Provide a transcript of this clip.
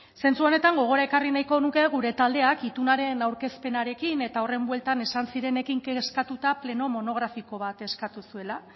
zentzu honetan gogora ekarri nahiko nuke gure taldeak itunaren aurkezpenarekin eta horren bueltan esan zirenekin kezkatuta pleno monografiko bat eskatu zuela